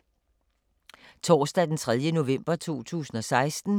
Torsdag d. 3. november 2016